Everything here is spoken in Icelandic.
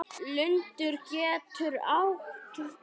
Lundur getur átt við